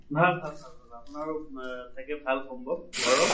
ভাল ভাল ভাল ভাল আপোনাৰো মা চাগে ভাল সম্ভৱ ঘৰৰ?